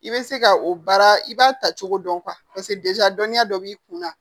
I bɛ se ka o baara i b'a ta cogo dɔn paseke dɔnniya dɔ b'i kunna